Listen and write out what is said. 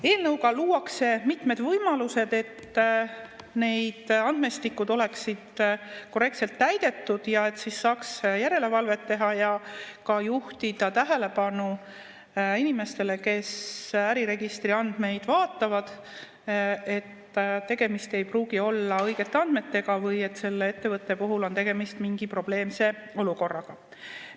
Eelnõuga luuakse mitmed võimalused, et need andmestikud oleksid korrektselt täidetud ja saaks järelevalvet teha ja ka juhtida nende inimeste, kes äriregistri andmeid vaatavad, tähelepanu sellele, et tegemist ei pruugi olla õigete andmetega või et selle ettevõtte puhul on tegemist mingi probleemse olukorraga.